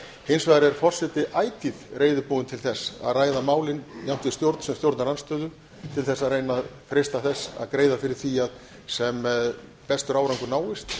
hins vegar er forseti ætíð reiðubúinn til þess að ræða málin jafnt við stjórn sem stjórnarandstöðu til þess að reyna að freista þess að greiða fyrir því að sem bestur árangur náist og